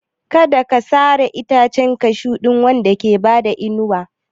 Kada a sare itacen Cashew wanda ke ba ku inuwa.